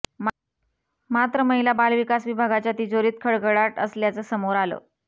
मात्र महिला बालविकास विभागाच्या तिजोरीत खडखडाट असल्याचं समोर आलं